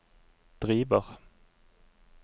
driver